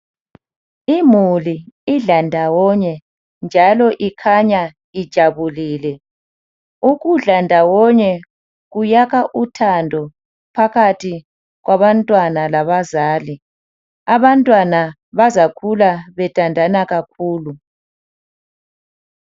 Imuli idla ndawonye njalo ikhanya ijabulile. Ukudla ndawonye kuyakha uthando phakathi kwabantwana labazali. Abantwana bazakhula bethandana kakhulu.